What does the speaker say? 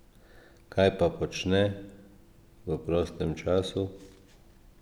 Kaj pa počne v prostem času?